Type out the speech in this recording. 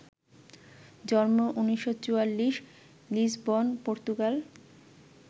জন্ম ১৯৪৪, Lisbon, Portugal